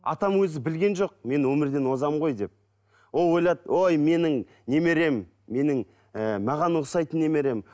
атам өзі білген жоқ мен өмірден озамын ғой деп ол ойлады ой менің немерем менің ііі маған ұқсайтын немерем